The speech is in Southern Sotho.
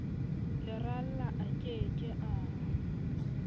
leralla a ke ke a